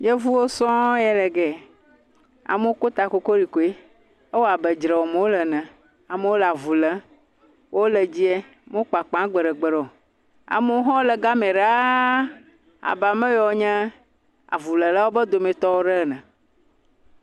Yevuwo sɔŋ ye gɛ, amewo ko takorikoe, ewɔ abe dzre wɔm wole ene, amewo le avu lém , wole dzie, wome kpakpa gbeɖe gbeɖe, amewo hã wole gamɛ laa abe ame yewo nye avulélawo be dometɔwo ɖe ene.